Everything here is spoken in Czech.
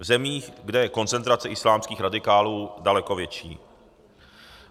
V zemích, kde je koncentrace islámských radikálů daleko větší.